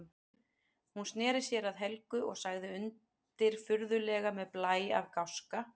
Hún sneri sér að Helgu og sagði undirfurðulega með blæ af gáska